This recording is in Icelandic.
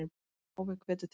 Páfi hvetur til friðar